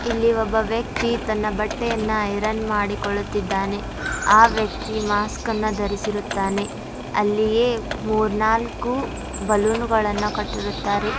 ಇಲ್ಲಿ ಒಬ್ಬ ವ್ಯಕ್ತಿ ತನ್ನ ಬಟ್ಟೆಯನ್ನು ಐರನ್ ಮಾಡಿಕೊಳ್ಳುತ್ತಿದ್ದಾನೆ ಆ ವ್ಯಕ್ತಿ ಮಾಸ್ಕನ್ನು ಧರಿಸುತ್ತಾನೆ ಅಲ್ಲಿಯ ಬಲೂನ್ಗಳನ್ನು ಕಟ್ಟಿರುತ್ತಾರೆ.